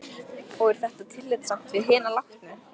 Og er þetta tillitssamt við hina látnu?